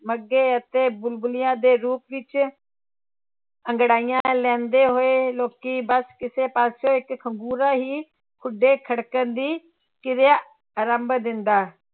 ਮੱਘੇ ਅਤੇ ਬੁਲਬੁਲੀਆਂ ਦੇ ਰੂਪ ਵਿੱਚ ਅੰਗੜਾਈਆਂ ਲੈਂਦੇ ਹੋਏ ਲੋਕੀ ਬਸ ਕਿਸੇ ਪਾਸੇ ਇੱਕ ਖੰਘੂਰਾ ਹੀ ਖੁੱਡੇ ਖੜਕਣ ਦੀ ਕਿਰਿਆ ਆਰੰਭ ਦਿੰਦਾ,